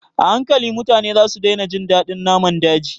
A hankali, mutane za su daina jin daɗin naman daji